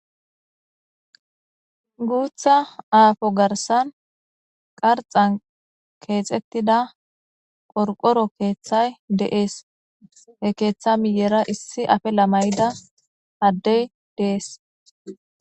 gutha appo garsan qarxay Kexetida qorqoro kethay de'ese he ketha miyera issi afila mayida adey des